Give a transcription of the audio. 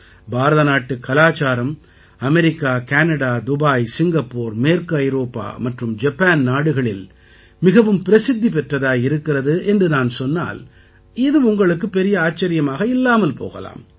பாரதநாட்டுக் கலாச்சாரம் America Canada Dubai Singapore மேற்கு ஐரோப்பா மற்றும் ஜப்பான் நாடுகளில் மிகவும் பிரசித்தி பெற்றதாக இருக்கிறது என்று நான் சொன்னால் இது உங்களுக்குப் பெரிய ஆச்சரியமாக இல்லாமல் போகலாம்